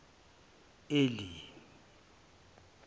eli